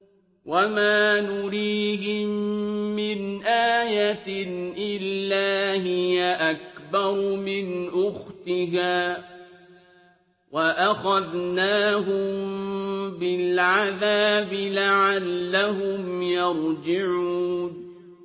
وَمَا نُرِيهِم مِّنْ آيَةٍ إِلَّا هِيَ أَكْبَرُ مِنْ أُخْتِهَا ۖ وَأَخَذْنَاهُم بِالْعَذَابِ لَعَلَّهُمْ يَرْجِعُونَ